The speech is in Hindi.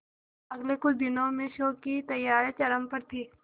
अगले कुछ दिनों में शो की तैयारियां चरम पर थी